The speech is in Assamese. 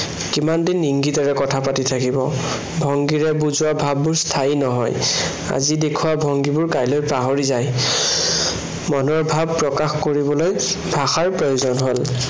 কিমান দিন ইংগিতেৰে কথা পাতি থাকিব। ভংগীৰে বুজোৱা ভাৱবোৰ স্থায়ী নহয়। আজি দেখুওৱা ভংগীবোৰ কাইলৈ পাহৰি যায়। মনৰ ভাৱ প্ৰকাশ কৰিবলৈ ভাষাৰ প্ৰয়োজন হল।